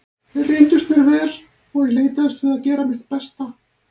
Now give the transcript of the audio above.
Þeir reyndust mér vel og ég leitaðist við að gera mitt besta.